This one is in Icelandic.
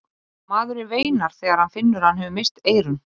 Eyrar kallaðist þéttbýlisstaður á suðurströnd Seyðisfjarðar eystra.